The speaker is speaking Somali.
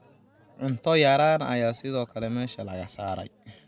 Cunto yaraan ayaa sidoo kale meesha laga saaray.